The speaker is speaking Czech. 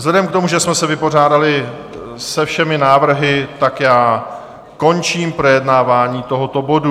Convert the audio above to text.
Vzhledem k tomu, že jsme se vypořádali se všemi návrhy, tak já končím projednávání tohoto bodu.